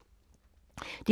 DR1